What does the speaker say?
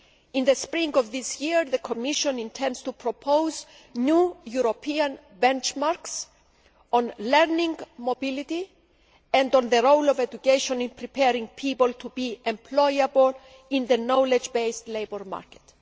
In the spring of this year, the Commission intends to propose new European benchmarks on learning mobility and on the role of education in preparing people to be employable in the knowledge based labour market.